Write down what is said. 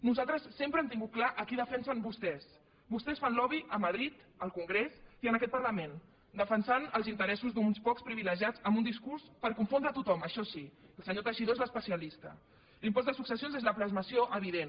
nosaltres sempre hem tingut clar a qui defensen vostès vostès fan lobby a madrid al congrés i en aquest parlament defensant els interessos d’uns pocs privilegiats amb un discurs per confondre tothom això sí el senyor teixidó és l’especialista l’impost de successions és la plasmació evident